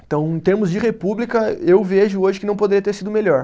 Então, em termos de república, eu vejo hoje que não poderia ter sido melhor.